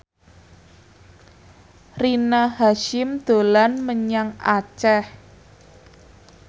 Rina Hasyim dolan menyang Aceh